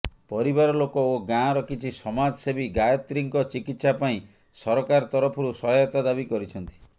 ପରିବାରଲୋକ ଓ ଗାଁର କିଛି ସମାଜସେବୀଗାୟତ୍ରୀଙ୍କ ଚିକିତ୍ସା ପାଇଁ ସରକାର ତରଫରୁ ସହାୟତା ଦାବି କରିଛନ୍ତି